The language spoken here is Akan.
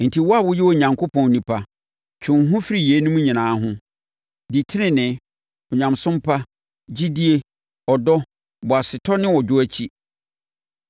Enti, wo a woyɛ Onyankopɔn onipa, twe wo ho firi yeinom nyinaa ho. Di tenenee, Onyamesom pa, gyidie, ɔdɔ, boasetɔ ne ɔdwoɔ akyi.